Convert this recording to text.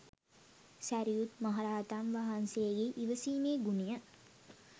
සැරියුත් මහ රහතන් වහන්සේගේ ඉවසීමේ ගුණය